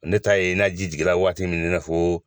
Ne t'a ye n'a ji jiginra waati min n'a fɔ.